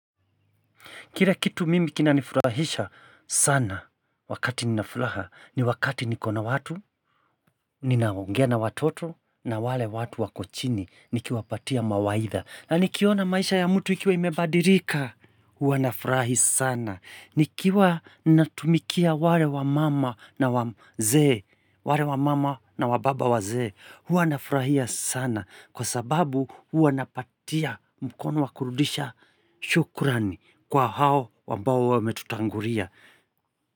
Kila kitu mimi kinanifurahisha sana wakati ninafuraha ni wakati niko na watu, ninaongea na watoto na wale watu wako chini nikiwapatia mawaidha. Na nikiona maisha ya mtu ikiwa imebadirika, huwa nafurahi sana. Nikiwa natumikia wale wamama na wababa wazee, huwa nafurahia sana. Kwa sababu huwa napatia mkono wakurudisha shukurani kwa hao ambao wametutangulia.